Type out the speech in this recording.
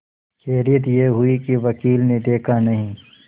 खैरियत यह हुई कि वकील ने देखा नहीं